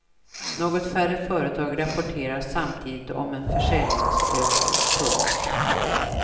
Något färre företag rapporterar samtidigt om en försäljningsökning. punkt